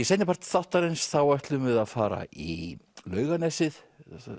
seinnipart þáttarins ætlum við að fara í Laugarnesið